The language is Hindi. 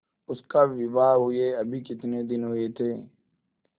उसका विवाह हुए अभी कितने दिन हुए थे